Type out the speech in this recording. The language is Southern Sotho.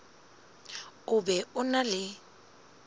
o be o na le